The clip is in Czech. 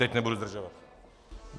Teď nebudu zdržovat.